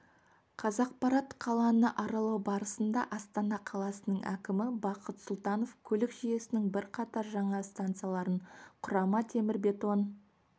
қазақпарат қаланы аралау барысында астана қаласының әкімі бақыт сұлтанов көлік жүйесінің бірқатар жаңа станцияларын құрама темірбетон